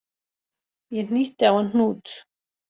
Ég hnýtti á hann hnút